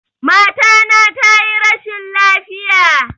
Mata na tayi rashin lafiya